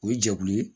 O ye jɛkulu ye